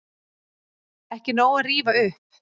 Ekki nóg að rífa upp